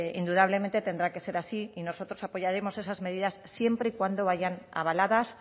indudablemente tendrá que ser así y nosotros apoyaremos esas medidas siempre y cuando vayan avaladas